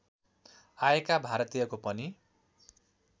आएका भारतीयको पनि